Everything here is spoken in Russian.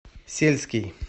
сельский